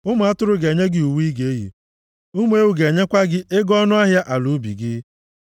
Ụmụ atụrụ ga-enye gị uwe ị ga-eyi, ụmụ ewu ga-enyekwa gị ego ọnụahịa ala ubi gị.